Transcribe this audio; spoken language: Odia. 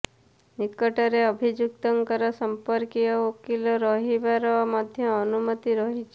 ନିକଟରେ ଅଭିଯୁକ୍ତଙ୍କର ସମ୍ପର୍କୀୟ ଓ ଓକିଲ ରହିବାର ମଧ୍ୟ ଅନୁମତୀ ରହିଛି